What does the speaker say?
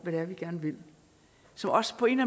det er vi gerne vil som også på en